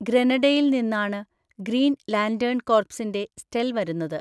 ഗ്രെനഡയിൽ നിന്നാണ് Green Lantern കോർപ്സിന്റെ സ്റ്റെൽ വരുന്നത്.